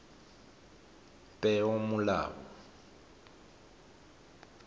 peomolao